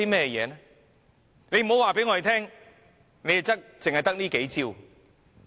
不要告訴我們它只得這數招。